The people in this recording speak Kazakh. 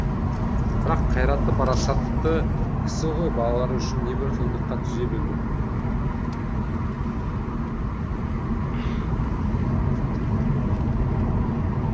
бірақ қайратты парасатты кісі ғой балалары үшін небір қиындыққа төзе білді